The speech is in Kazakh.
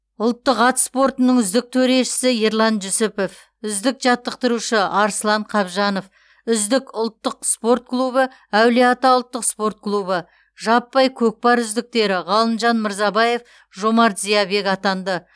ұлттық ат спортының үздік төрешісі ерлан жүсіпов үздік жаттықтырушы арслан қабжанов үздік ұлттық спорт клубы әулие ата ұлттық спорт клубы жаппай көкпар үздіктері ғалымжан мырзабаев жомарт зиябек атанды